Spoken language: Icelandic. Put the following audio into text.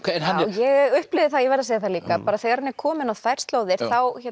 ég upplifði það ég verð að segja það líka þegar hann er kominn á þær slóðir af